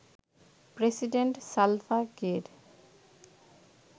president Salva Kiir